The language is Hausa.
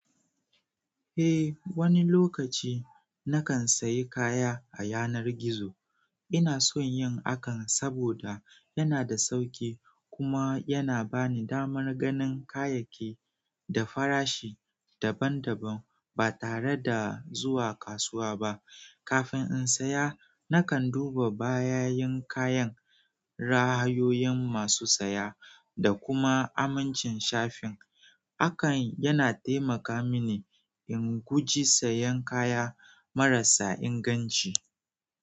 Eh, wani lokaci na kan sayi kaya a yanar gizo. Ina son yin hakan saboda yana da sauƙi kuma yana ba ni damar ganin kayayyaki da farashi daban-daban ba tare da zuwa kasuwa ba. Kafin in saya, na kan duba bayanin kayan, ra'ayoyin masu saya, da kuma amincin shafin. Hakan yana taimaka mini in guji sayan kaya marasa inganci.